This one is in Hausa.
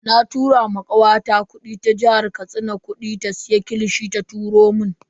Na tura ma kawata ta jihar Katsina kudi ta siya kilishi ta turo mun.